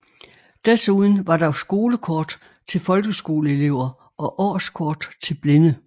Desuden var der skolekort til folkeskoleelever og årskort til blinde